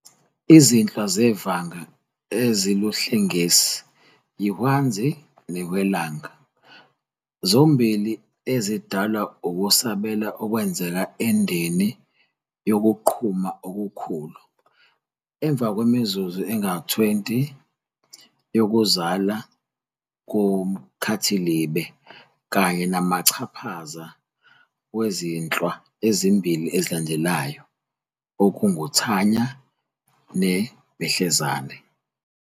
Izinhlwa zevanga eziluhlengesi yiHwanzi neHwelanga, zombili ezidalwa ukusabela okwenzeka endeni yokuQhuma okuKhulu, emva kwemizuzu engama-20 yokuzalwa koMkhathilibe, kanye namachaphaza wezinhlwa ezimbili ezilandelayo, okungumThanya neBehlezani.